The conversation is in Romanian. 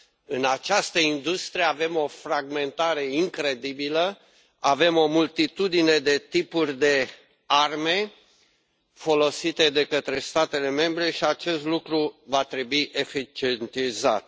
în această industrie avem o fragmentare incredibilă, avem o multitudine de tipuri de arme folosite de către statele membre și acest lucru va trebui eficientizat.